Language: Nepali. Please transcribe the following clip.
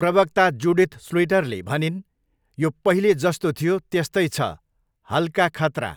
प्रवक्ता जुडिथ स्लुइटरले भनिन्, 'यो पहिले जस्तो थियो, त्यस्तै छ, हल्का खतरा।